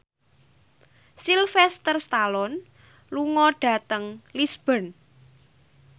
Sylvester Stallone lunga dhateng Lisburn